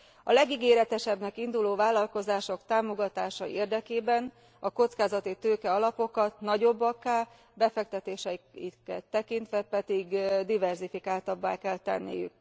A legígéretesebbnek induló vállalkozások támogatása érdekében a kockázatitőke alapokat nagyobbakká, befektetéseiket tekintve pedig diverzifikáltabbá kell tenniük.